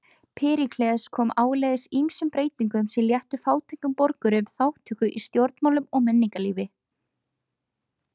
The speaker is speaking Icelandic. Períkles kom áleiðis ýmsum breytingum sem léttu fátækum borgurum þátttöku í stjórnmálum og menningarlífi.